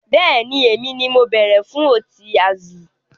Bẹ́ẹ̀ni, èmi ni mo bere fún Ọtí Azul